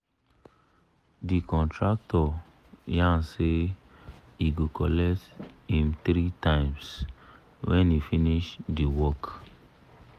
the contractor yan say he go colet him 3 times when he finish the work